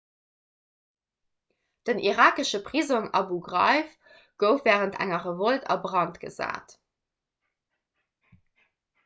den irakesche prisong abu ghraib gouf wärend enger revolt a brand gesat